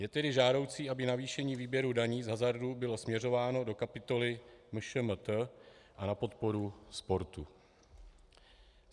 Je tedy žádoucí, aby navýšení výběru daní z hazardu bylo směřováno do kapitoly MŠMT a na podporu sportu.